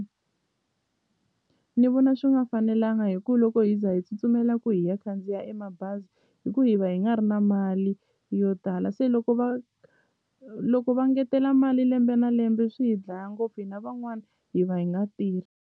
Ni vona swi nga fanelanga hi ku loko hi za hi tsutsumela ku hi ya khandziya e mabazi i ku hi va hi nga ri na mali yo tala se loko va loko va ngetela mali lembe na lembe swi hi dlaya ngopfu hina van'wani hi va hi nga .